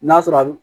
N'a sɔrɔ a bi